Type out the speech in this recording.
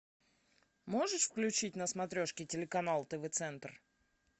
можешь включить на смотрешке телеканал тв центр